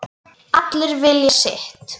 Allir vilja sitt